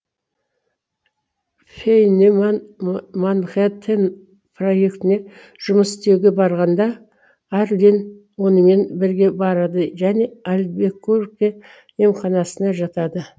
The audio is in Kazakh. фейниман манхэттен проектіне жұмыс істеуге барғанда арлин онымен бірге барады және альбекурке емханасына жатады